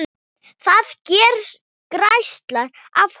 Það geislar af honum.